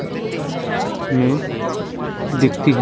हम्म में दिखती --